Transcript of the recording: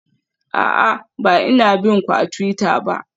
A'a, ba ina bin ku a twitter ba.